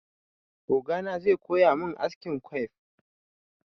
Ogana zai koya min askin quiff.